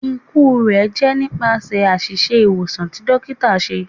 Iku rẹ jẹ nipasẹ aṣiṣe iwosan ti dokita